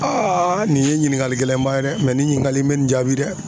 nin ye ɲininkali gɛlɛn ba ye dɛ nin ɲininkali bɛ nin jaabi dɛ.